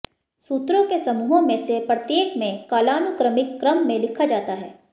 सूत्रों के समूहों में से प्रत्येक में कालानुक्रमिक क्रम में लिखा जाता है